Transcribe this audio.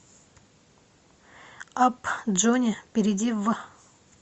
апп джони перейди в